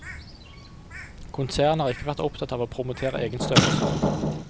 Konsernet har ikke vært opptatt av å promotere egen størrelse.